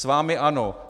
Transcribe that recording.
S vámi ano.